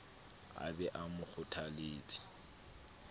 a be a mo kgothaletse